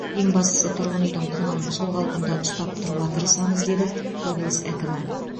ең бастысы тұрғын үйдің құнын сол қалпында ұстап тұруға тырысамыз деді облыс әкімі